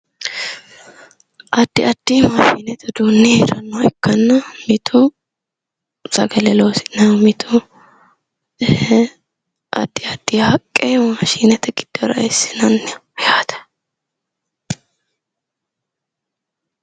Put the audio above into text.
addi addi mashinete uduunni hee'rannoha ikkanna mitu sagale loosi'naho mitu addi addiha haqqe mashinete giddora eessinanniha yaate